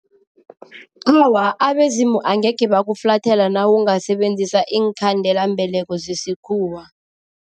Awa, abezimu angekhe bakuflathela nawungasebenzisa iinkhandelambeleko zesikhuwa.